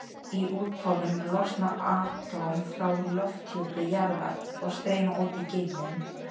Í úthvolfinu losna atóm frá lofthjúpi jarðar og streyma út í geiminn.